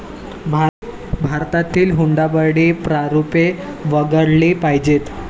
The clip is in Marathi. भारतातील हुंडाबळी, प्रारूपे वगळली पाहिजेत.